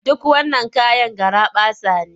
Duk wannan kayan garaɓasa ne?